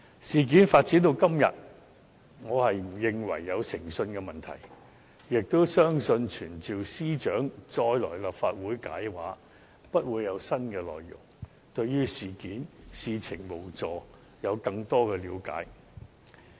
事件發展至今，我並不認為有誠信問題，也相信傳召司長再前來立法會解釋也不會有新的內容，無助對事情有更多的了解。